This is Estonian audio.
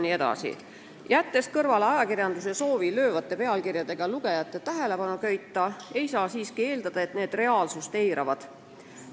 Pidades meeles ajakirjanduse soovi löövate pealkirjadega lugejate tähelepanu köita, ei saa siiski eeldada, et need reaalsust eiravad.